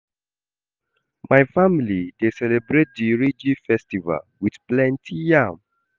My family dey celebrate di Iriji festival wit plenty yam.